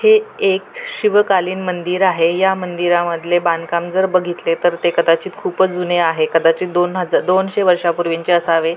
हे एक शिवकालीन मंदिर आहे या मंदिरामधले बांधकाम जर बगितले तर ते कदाचित खूपच जूने आहे कदाचित दोन हजा दोनशे वर्षांपूर्वीचे असावे.